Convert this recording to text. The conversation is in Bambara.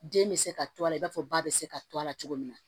Den bɛ se ka to a la i b'a fɔ ba bɛ se ka to a la cogo min na